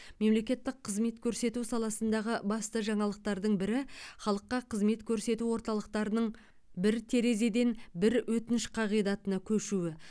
мемлекеттік қызмет көрсету саласындағы басты жаңалықтардың бірі халыққа қызмет көрсету орталықтарының бір терезеден бір өтініш қағидатына көшуі